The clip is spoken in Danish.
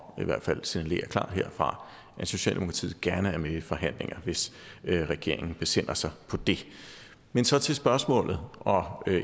i hvert fald signalere klart herfra at socialdemokratiet gerne er med i forhandlinger hvis regeringen besinder sig på det men så til spørgsmålet og